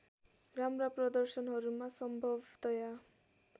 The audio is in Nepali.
राम्रा प्रदर्शनहरूमा सम्भवतया